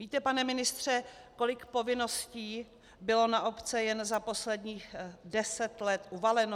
Víte, pane ministře, kolik povinností bylo na obce jen za posledních deset let uvaleno?